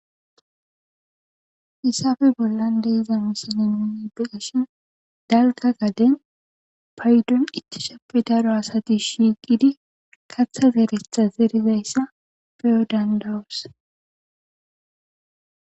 Hissafe bollan deiza musale nunnebeashin dalga gaden paydon ittishappe daro asati shiiqidi kaththa geeretha erizayssa peyodan dawus.